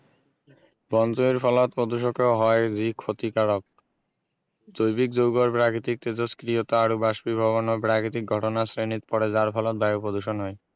বন জুইৰ ফলত প্ৰদূষকেও হয় যি ক্ষতিকাৰক জৈৱিক যৌগৰ প্ৰাকৃতিক তেজস্ক্ৰিয়তা আৰু বস্পিভৱনৰ প্ৰাকৃতিক ঘটনাৰ শ্ৰেণীত পৰে যাৰ ফলত বায়ু প্ৰদূষণ হয়